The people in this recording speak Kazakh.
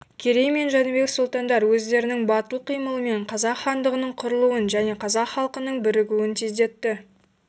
керей мен жәнібек сұлтандар өздерінің батыл қимылымен қазақ хандығының құрылуын және қазақ халқының бірігуін тездетті